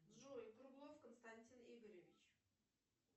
джой круглов константин игоревич